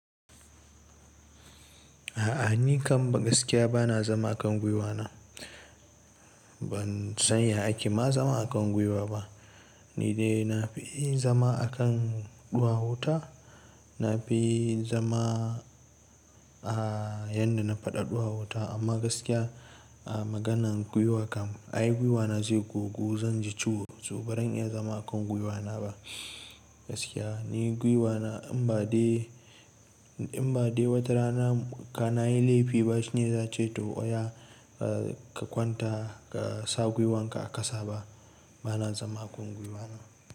A'a ni kam gaskiya ba na zama a kan gwiwana. Ban san ya ake ma zama a kan gwiwa ba. Ni dai na fi zama a kan ɗuwawuta. Na fi zama a yanda na faɗa ɗuwawuta amma gaskiya a maganan gwiwa kam ai gwiwana zai gogu zan ji ciwo. To ba zan iya zama a kan gwiwana na ba gaskiya. Ni gwiwana in ba dai, in ba dai wata rana ka nayi laifi ba shine zai ce to oya ka kwanta ka sa gwiwan ka a ƙasa ba, ba na zama a kan gwiwana.